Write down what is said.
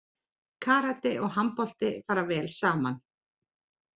Karate og handbolti fara vel saman